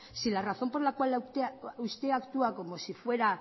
si la razón por la cual usted actúa como si fuera